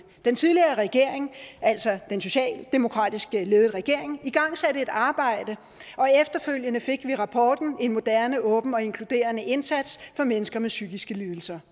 den tidligere regering altså den socialdemokratisk ledede regering igangsatte et arbejde og efterfølgende fik vi rapporten en moderne åben og inkluderende indsats for mennesker med psykiske lidelser